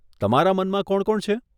તમારા મનમાં કોણ કોણ છે?